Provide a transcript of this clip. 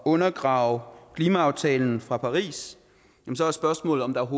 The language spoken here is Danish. undergrave klimaaftalen fra paris så er spørgsmålet om der